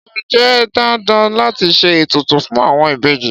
Ṣé ó jẹ́ dandan láti ṣe ètùtù fún àwọn ìbejì?